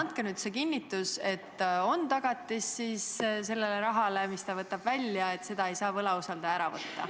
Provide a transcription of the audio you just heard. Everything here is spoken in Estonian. Andke nüüd kinnitus, kas sellel rahal, mille ta välja võtab, on tagatis ja võlausaldaja ei saa seda temalt ära võtta.